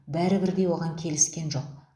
бәрі бірдей оған келіскен жоқ